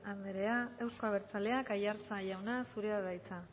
anderea euzko abertzaleak aiartza jauna zurea da hitza